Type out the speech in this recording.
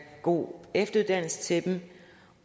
god efteruddannelse til dem